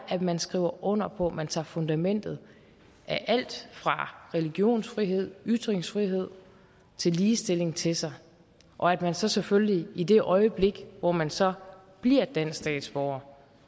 at man skriver under på at man tager fundamentet alt fra religionsfrihed ytringsfrihed til ligestilling til sig og at man så selvfølgelig i det øjeblik hvor man så bliver dansk statsborger